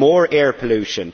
more air pollution.